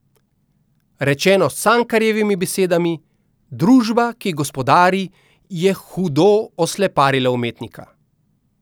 Rečeno s Cankarjevimi besedami: "Družba, ki gospodari, je hudo osleparila umetnika.